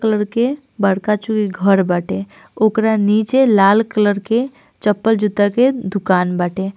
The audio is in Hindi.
कलर के बड़का चुई घर बाटे ओकरा नीचे लाल कलर के चप्पल जूता के दुकान बाटे।